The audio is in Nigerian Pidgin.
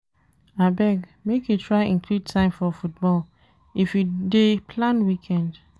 Abeg, make you try include time for football if you dey plan weekend